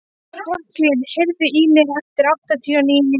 Franklín, heyrðu í mér eftir áttatíu og níu mínútur.